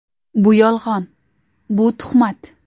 Bu yolg‘on, bu tuhmat.